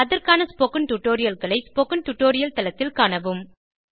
அதற்கான ஸ்போகன் டுடோரியல்களை spoken tutorial தளத்தில் காணவும்